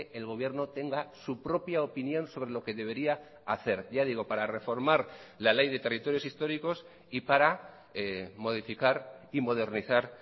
el gobierno tenga su propia opinión sobre lo que debería hacer ya digo para reformar la ley de territorios históricos y para modificar y modernizar